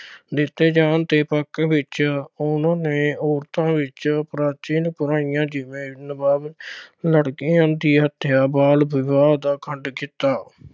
ਦਿੱਤੇ ਜਾਣ ਦੇ ਪੱਖ ਵਿੱਚ ਉਨ੍ਹਾਂ ਨੇ ਔਰਤਾਂ ਵਿੱਚ ਪ੍ਰਾਚੀਨ ਬੁਰਾਈਆਂ ਜਿਵੇਂ ਲੜਕੀਆਂ ਦੀ ਹੱਤਿਆ, ਬਾਲ ਵਿਵਾਹ ਅਤੇ ਅਖੰਡ ਕੀਤਾ।